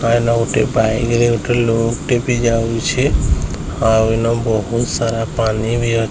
ପାଇନ ଗୋଟେ ବାଇକ ରେ ଗୋଟେ ଲୋକ ବି ଯାଉଛେ ଆଉ ଏନ ବହୁତ ସାରା ପାଣି ବି --